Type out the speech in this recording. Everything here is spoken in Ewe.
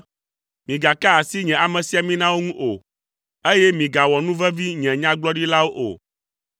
“Migaka asi nye amesiaminawo ŋu o, eye migawɔ nu vevi nye nyagblɔɖilawo o.”